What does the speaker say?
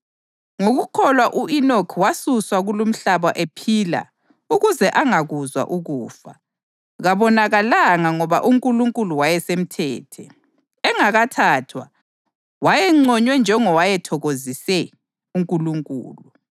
Ngokukholwa u-Enoki wasuswa kulumhlaba ephila ukuze angakuzwa ukufa: “Kabonakalanga ngoba uNkulunkulu wayesemthethe.” + 11.5 UGenesisi 5.24 Engakathathwa, wayenconywe njengowayethokozise uNkulunkulu.